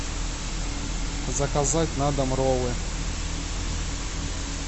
заказать на дом роллы